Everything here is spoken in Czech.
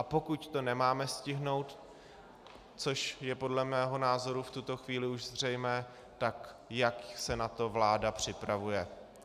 A pokud to nemáme stihnout, což je podle mého názoru v tuto chvíli už zřejmé, tak jak se na to vláda připravuje.